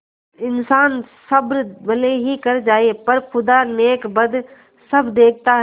इन्सान सब्र भले ही कर जाय पर खुदा नेकबद सब देखता है